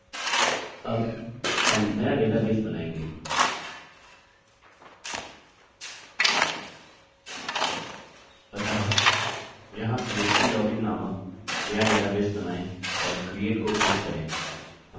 अतः यहाँ php login नामक नया डेटाबेस बनायें और create को क्लिक करें